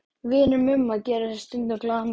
Vinir Mumma gera sér stundum glaðan dag í